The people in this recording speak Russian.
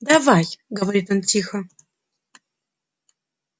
давай говорит он тихо